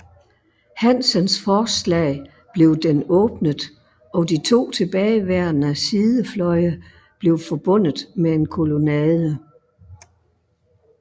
Hansens forslag blev den åbnet og de to tilbageværende sidefløje blev forbundet med en kolonnade